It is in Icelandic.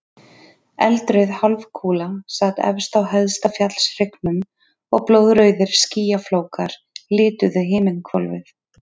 Eldrauð hálfkúla sat efst á hæsta fjallshryggnum og blóðrauðir skýjaflókar lituðu himinhvolfið.